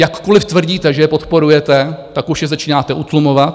Jakkoliv tvrdíte, že je podporujete, tak už je začínáte utlumovat.